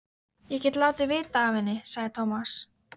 Ég get látið vita af henni, sagði Tómas.